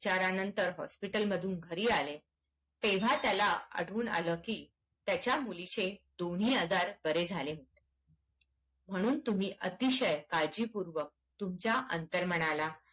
उपचारानंतर हॉस्पिटल मधून घरी आले तेव्हा त्याला आठवून आला की तच्या मुलीचे दोन्ही आजार बरे झाले होते म्हणून तुम्ही अतिशय काळजीपूर्वक तुमच्या अंतर्मनाला